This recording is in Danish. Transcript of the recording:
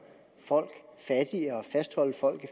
folk fattigere og fastholde folk i